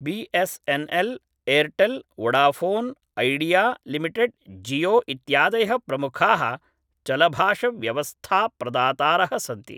B S N L Airtel Vodafone Idea limited Jio इत्यादयः प्रमुखाः चलभाषव्यवस्थाप्रदातारः सन्ति